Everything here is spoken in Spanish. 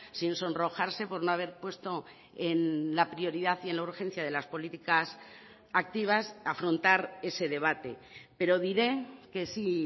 sin sonrojarse por no haber puesto en la prioridad y en la urgencia de las políticas activas afrontar ese debate pero diré que sí